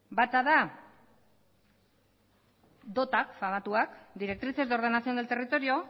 bata da dot pagatuak directrices de ordenación del territorio